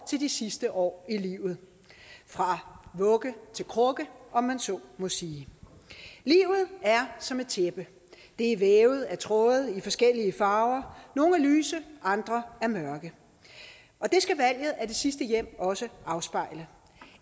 til de sidste år i livet fra vugge til krukke om man så må sige livet er som et tæppe det er vævet af tråde i forskellige farver nogle er lyse andre er mørke og det skal valget af det sidste hjem også afspejle